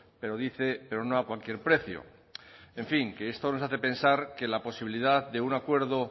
pero dice pero no a cualquier precio en fin que esto nos hace pensar que la posibilidad de un acuerdo